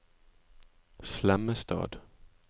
Slemmestad